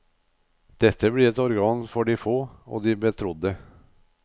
Dette blir et organ for de få, og de betrodde.